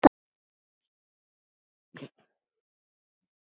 Jafnvel ekki ömmur.